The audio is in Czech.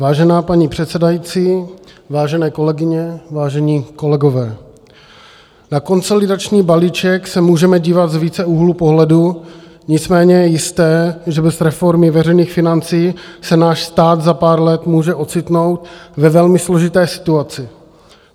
Vážená paní předsedající, vážené kolegyně, vážení kolegové, na konsolidační balíček se můžeme dívat z více úhlů pohledu, nicméně je jisté, že bez reformy veřejných financí se náš stát za pár let může ocitnout ve velmi složité situaci.